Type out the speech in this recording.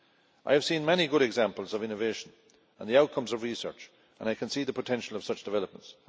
I have seen many good examples of innovation and the outcomes of research, and I can see the potential of such developments.